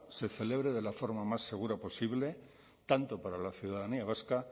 se celebre de la forma más segura posible tanto para la ciudadanía vasca